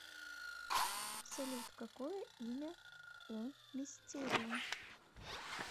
салют какое имя у мистерио